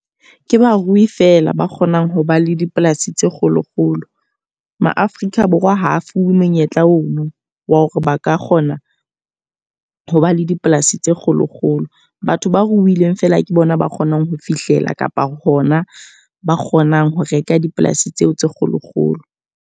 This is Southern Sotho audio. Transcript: Ke barui fela ba kgonang ho ba le dipolasi tse kgolo-kgolo. Ma-Afrika Borwa ha a fuwe monyetla ono wa hore ba ka kgona ho ba le dipolasi tse kgolo-kgolo. Batho ba ruileng fela ke bona ba kgonang ho fihlela kapa hona ba kgonang ho reka dipolasi tseo tse kgolo-kgolo.